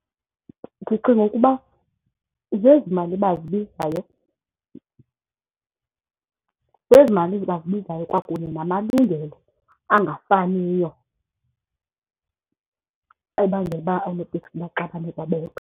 Ndicinga ukuba zezi mali bazibizayo, zezi mali bazibizayo kwakunye namalungelo angafaniyo ebangela uba oonoteksi baxabane kwabodwa.